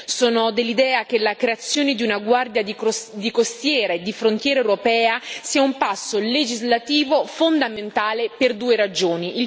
Sono dell'idea che la creazione di una Guardia costiera e di frontiera europea sia un passo legislativo fondamentale per due ragioni.